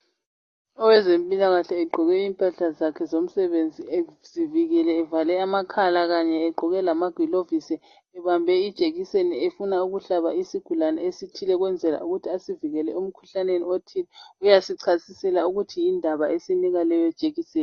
Owezempilakahle egqoke impahla zakhe zomsebenzi ezivikele evale amakhala kanye egqoke lamaglovisi ebambe ijekiseni efuna ukuhlaba isigulane esithile ukwenzela ukuthi asivikele emkhuhlaneni othile. Uyasichasisela ukuthi yindaba esinika leyo jekiseni.